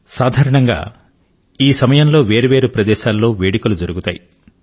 సాధారణంగా ఈ సమయంలో వేర్వేరు ప్రదేశాల్లో వేడుకలు జరుగుతాయి